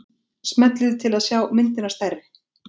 smellið til að sjá myndina stærri